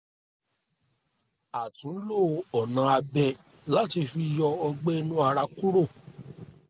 a tún lo ọ̀nà abẹ láti fi yọ ọgbẹ́ inú ara kúrò